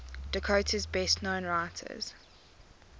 dakota's best known writers